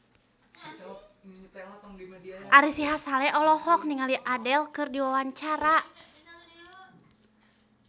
Ari Sihasale olohok ningali Adele keur diwawancara